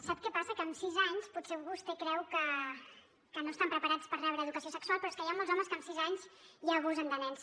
sap què passa que amb sis anys potser vostè creu que no estan preparats per rebre educació sexual però és que hi ha molts homes que amb sis anys ja abusen de nens